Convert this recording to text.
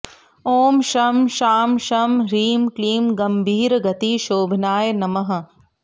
ॐ शं शां षं ह्रीं क्लीं गम्भीरगतिशोभनाय नमः